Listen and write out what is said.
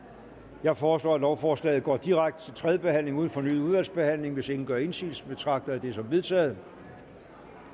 jeg foreslår at lovforslaget går direkte til tredje behandling uden fornyet udvalgsbehandling hvis ingen gør indsigelse betragter jeg det som vedtaget